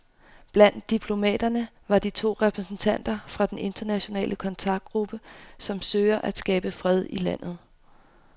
Blandt diplomaterne var to repræsentanter fra den internationale kontaktgruppe, som søger at skabe fred i landet.